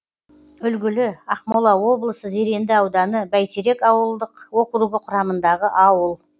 үлгілі ақмола облысы зеренді ауданы бәйтерек ауылдық округі құрамындағы ауыл